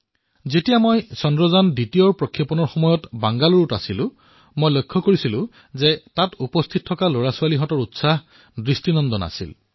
যেতিয়া চন্দ্ৰযান২ৰ সময়ত মই বেংগালুৰুত আছিলো তেতিয়া মই দেখিছিলো যে তাত উপস্থিত শিশুসকল কেনে উৎসাহী হৈ পৰিছিল